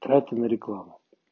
тратим на рекламу